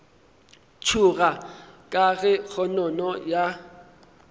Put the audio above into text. tšhoga ka ge kgonono ya